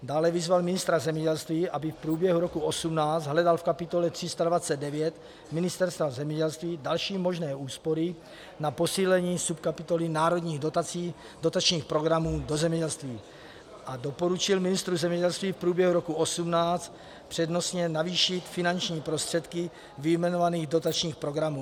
Dále vyzval ministra zemědělství, aby v průběhu roku 2018 hledal v kapitole 329 Ministerstva zemědělství další možné úspory na posílení subkapitoly národních dotačních programů do zemědělství, a doporučil ministru zemědělství v průběhu roku 2018 přednostně navýšit finanční prostředky vyjmenovaných dotačních programů.